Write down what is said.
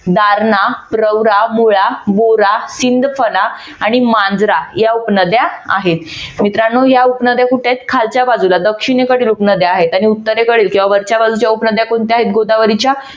दारणा, प्रवरा बोरा, सिंदफणा आणि मांजरा या उपनद्या आहेत. मित्रानो या उपनद्या कुठे आहेत? खालच्या बाजूला दक्षिणेकडील उपनद्या आहेत आणि उत्तरेकडील किंवा वरच्या बाजूच्या उपनद्या कोणत्या आहेत गोदावरीच्या